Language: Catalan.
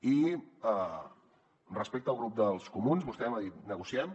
i respecte al grup dels comuns vostè m’ha dit negociem